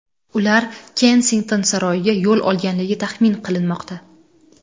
Ular Kensington saroyiga yo‘l olganligi taxmin qilinmoqda.